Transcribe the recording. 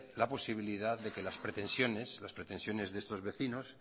la posibilidad de que las pretensiones de estos vecinos